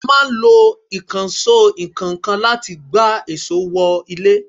A máa ń lo Ìkànsó ìkọ́ńkan láti gbá èsó wọ ilé